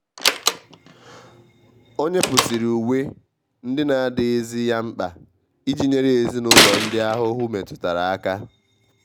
o nyepusiri uwe ndị na adịghị zi ya mkpa iji nyere ezinụlọ ndị ahụhụ metụtara aka.